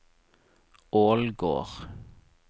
Ålgård